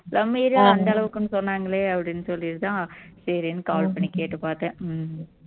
நம்ம area அந்த அளவுக்குன்னு சொன்னாங்களே அப்படின்னு சொல்லிட்டுதான் சரின்னு call பண்ணி கேட்டுப்பார்த்தேன்